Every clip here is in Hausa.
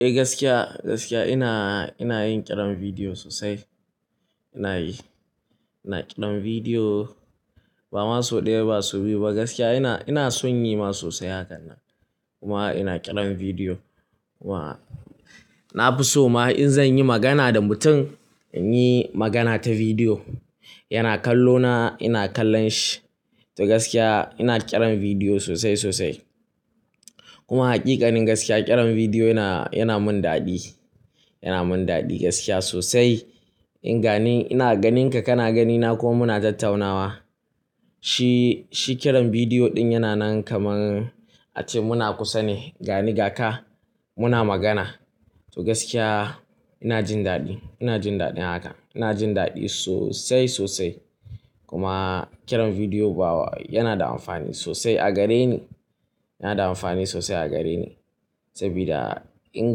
Eh gaskiya, gaskiya ina, ina yin ƙiran bidiyo sosai. Ina yi, ina ƙiran bidiyo ba ma sau ɗaya ba ba sau biyu ba gaskiya ina, ina son yi ma sosai hakan nan. Kuma ina ƙiran bidiyo kuma na fi so ma in zan yi magana da mutum, in yi magana ta bidiyo. Yana kallo na, ina kallon shi. To gaskiya ina ƙiran bidiyo sosai, sosai. Kuma haƙiƙanin gaskiya ƙiran bidiyo yana, yana mun daɗi, yana mun daɗi gaskiya sosai. In gani ina ganinka, kana ganina kuma muna tattaunawa. Shi, shi kiran bidiyo ɗin yana nan kaman a ce muna kusa ne. Gani ga ka muna magana. To gaskiya ina jin daɗi, ina jin daɗin haka. Ina jin daɗi sosai, sosai. Kuma ƙiran bidiyo bawa yana da amfani sosai a gare ni, yana da amfani sosai a gare ni. Sabida in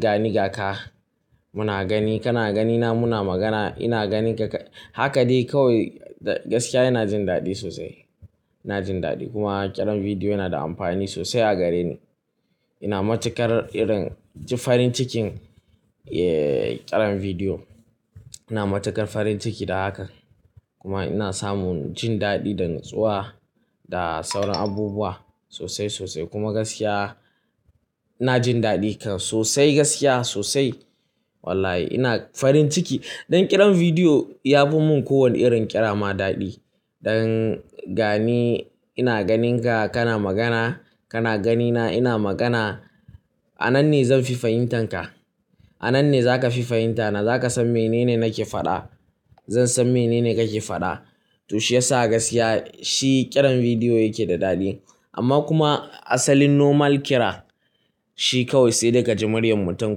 gani ga ka muna gani, kana ganina muna magana. Ina ganinka ka, haka dai kawai da gaskiya ina jin daɗi sosai, ina jin daɗi. Kuma ƙiran bidiyo yana da amfani sosai a gare ni. Ina matukar irin ji farin cikin, eh ƙeran bidiyo. Ina matukar farin ciki da hakan. Kuma ina samun jin daɗi da natsuwa da sauran abubuwa sosai, sosai. Kuma gaskiya ina jin daɗi kan sosai gaskiya sosai. Wallahi ina farin ciki. Dan ƙiran bidiyo ya bu mu kowane irin ƙira ma daɗi. Don gani ina ganinka kana magana, kana ganina ina magana. A nan ne zan fi fahimtan ka. A nan ne za ka fi fahimta na. Za ka san mene ne nake faɗa. Zan san mene ne kake faɗa. To shiyasa gaskiya shi ƙiran bidiyo yake da daɗi. Amma kuma asalin normal kira shi kawai sai de ka ji muryar mutum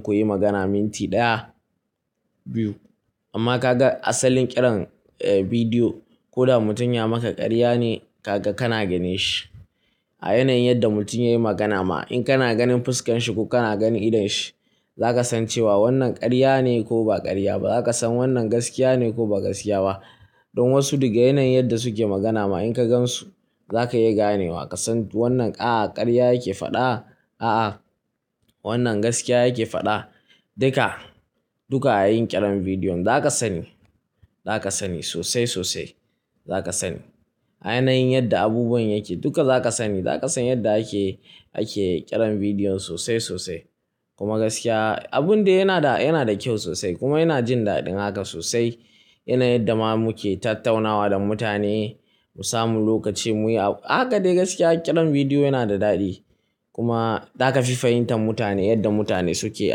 kuyi magana minti ɗaya, biyu. Amma ka ga asalin ƙiran, eh bidiyo ko da mutum ya maka ƙarya ne ka ga kana gane shi. A yanayin yadda mutum yai magana ma in kana ganin fuskan shi ko kana ganin idon shi, za ka san cewa wannan ƙarya ne ko ba ƙarya ba. Za ka san wannan gaskiya ne ko ba gaskiya ba. Don wasu daga yanayin yadda suke magana ma in ka gan su, za ka iya ganewa ka san wannan ƙa ƙarya yake faɗa, a'a wannan gaskiya yake faɗa. Dika, duka a yin ƙiran bidiyo za ka sani, za ka sani sosai, sosai. Za ka sani a yanayin yadda abubuwan yake duka za ka sani. Za ka san yadda ake, ake ƙiran bidiyon sosai, sosai. Kuma gaskiya abun de yana da, yana da kyau sosai kuma ina jin daɗin haka sosai. Yanayin da ma muke tattaunawa da mutane mu samu lokaci muyi, haka dai gaskiya ƙiran bidiyo yana da daɗi. Kuma za ka fi fahimtan mutane yadda mutane suke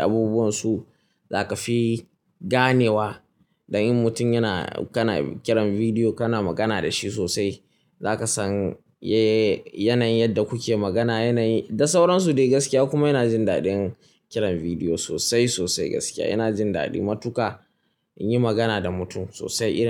abubuwansu. Za ka fi ganewa dan in mutum yana, kana ƙiran bidiyo kana magana da shi sosai. Za ka san ye yanayin yadda kuke magana yanayin da sauransu dai gaskiya kuma yana jin daɗin kiran bidiyo sosai, sosai gaskiya. Ina jin daɗi matuƙa in yi magana da mutum sosai ina.